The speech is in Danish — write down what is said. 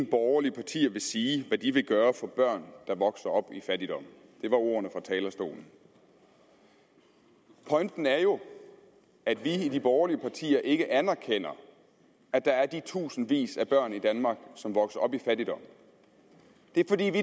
borgerlige partier vil sige hvad de vil gøre for børn der vokser op i fattigdom det var ordene fra talerstolen pointen er jo at vi i de borgerlige partier ikke anerkender at der er de tusindvis af børn i danmark som vokser op i fattigdom det er fordi vi